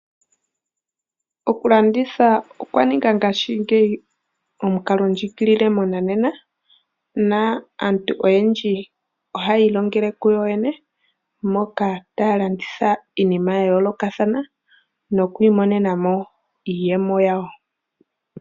Okulanditha okwa ninga ngaashingeyi omukalo ndjiigilile monanena, na aantu oyendji oha yii longele kuyo yene, moka taya landitha iinima ya yoolokathana, nokwiimonena mo iiyemo yawo.